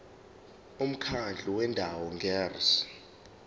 umkhandlu wendawo ngerss